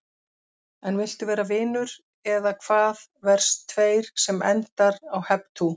En viltu vera vinur, eða hvaðVERS 2 sem endar á Hep tú!